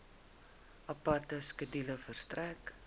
aparte skedule verstrek